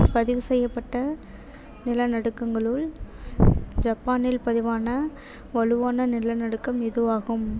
பதிவு செய்யப்பட்ட நிலநடுக்கங்களுள் ஜப்பானில் பதிவான வலுவான நிலநடுக்கம் இதுவாகும்.